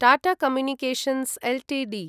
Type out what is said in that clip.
Tata communications Ltd